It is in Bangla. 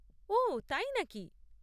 ওঃ, তাই নাকি?